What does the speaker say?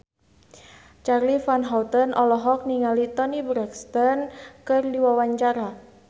Charly Van Houten olohok ningali Toni Brexton keur diwawancara